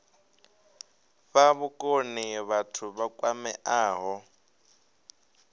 fha vhukoni vhathu vha kwameaho